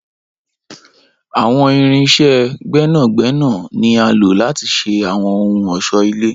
Awọn irin iṣẹ gbẹnagbẹna ni a lo lati ṣe awọn ohun ọṣọ-ile.